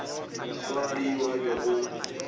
swana le yo a bego